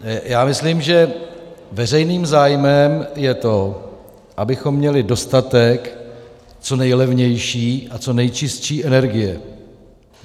Já myslím, že veřejným zájmem je to, abychom měli dostatek co nejlevnější a co nejčistší energie.